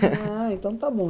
Ah, então está bom.